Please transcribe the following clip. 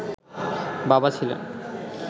বাবা ছিলেন